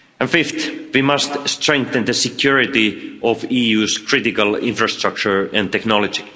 Fifthly, we must strengthen the security of the EU's critical infrastructure and technology.